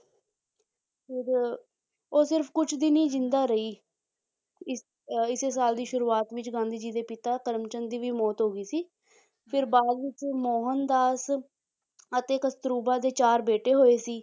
ਫਿਰ ਉਹ ਸਿਰਫ਼ ਕੁਛ ਦਿਨ ਹੀ ਜ਼ਿੰਦਾ ਰਹੀ ਇਸ ਅਹ ਇਸੇ ਸਾਲ ਦੀ ਸ਼ੁਰੂਆਤ ਵਿੱਚ ਗਾਂਧੀ ਜੀ ਦੇ ਪਿਤਾ ਕਮਰਚੰਦ ਦੀ ਵੀ ਮੌਤ ਹੋ ਗਈ ਸੀ ਫਿਰ ਬਾਅਦ ਵਿੱਚ ਮੋਹਨਦਾਸ ਅਤੇ ਕਸਤੁਰਬਾ ਦੇ ਚਾਰ ਬੇਟੇ ਹੋਏ ਸੀ